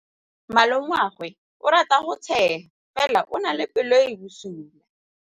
Malomagwe o rata go tshega fela o na le pelo e e bosula.